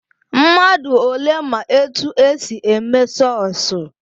Mmadụ ole ma etu e si eme sọsụ?